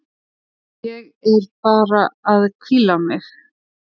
Ég er bara að hvíla mig.